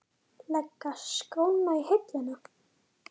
Leggja skóna á hilluna?